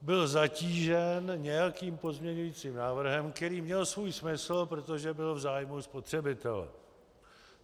Byl zatížen nějakým pozměňovacím návrhem, který měl svůj smysl, protože byl v zájmu spotřebitele.